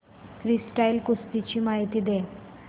freestyle कुस्ती ची माहिती दे